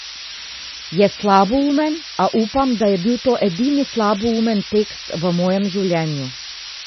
Je slaboumen, a upam, da je bil to edini slaboumen tekst v mojem življenju.